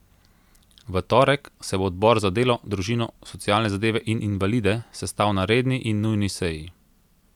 V torek se bo odbor za delo, družino, socialne zadeve in invalide sestal na redni in nujni seji.